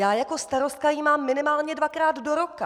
Já jako starostka ji mám minimálně dvakrát do roka.